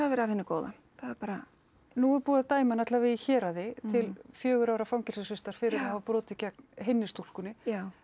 verið af hinu góða það bara nú er búið að dæma hann alla vega í héraði til fjögurra ára fangelsisvistar fyrir að hafa brotið gegn hinni stúlkunni